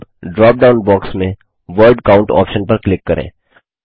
अब dropdown box में word count option पर क्लिक करें